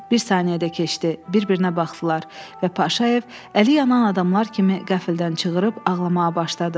Bir saniyə də keçdi, bir-birinə baxdılar və Paşayev əli yanan adamlar kimi qəfildən çığırıb ağlamağa başladı.